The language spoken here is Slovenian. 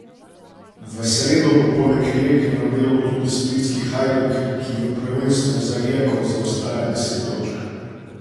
V sredo bo poleg Rijeke na delu tudi splitski Hajduk, ki v prvenstvu za Rijeko zaostaja deset točk.